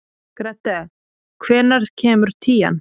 Grethe, hvenær kemur tían?